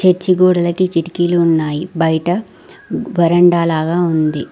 Church గోడలకి కిటికీలు ఉన్నాయి బయట వరండా లాగా ఉంది.